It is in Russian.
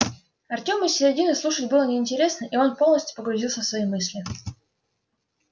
артему с середины слушать было неинтересно и он полностью погрузился в свои мысли